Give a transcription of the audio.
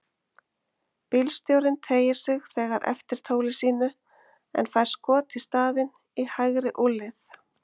Bílstjórinn teygir sig þegar eftir tóli sínu en fær skot í staðinn, í hægri úlnlið.